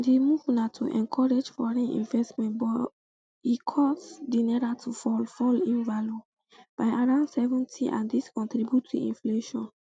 di move na to encourage foreign investment but e cause di naira to fall fall in value by around seventy and dis contribute to inflation